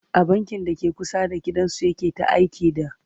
a bankin dake kusa da gidan su yake ta aiki da